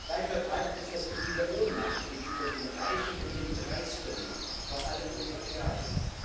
Weit verbreitet ist das Gefühl der Ohnmacht gegenüber den Reichen und den Dreisten, vor allem den Oligarchen.